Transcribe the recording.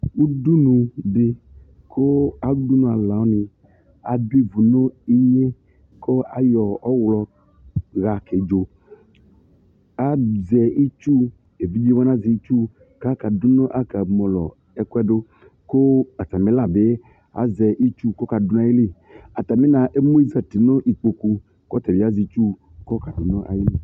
Ʊdunudi kʊ udunʊalu wani adu ivʊ nu iŋe kʊ ayɔ ɔɣlɔ hakedzo azɛ itsʊ evidze wani azɛ itsʊ kaɣa kamɔlɔ ɛkʊɛdu kʊ atami la bi azɛ itsʊ kʊ ɔkadʊ nu ayili ataminabi emʊ zati nu ikpokʊ kʊ tabi azɛ itsu kɔkadʊ nu ayili